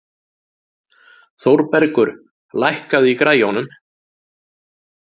Þórbergur, lækkaðu í græjunum.